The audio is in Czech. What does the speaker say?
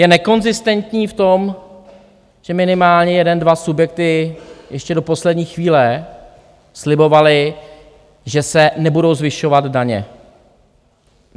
Je nekonzistentní v tom, že minimálně jeden dva subjekty ještě do poslední chvíle slibovaly, že se nebudou zvyšovat daně.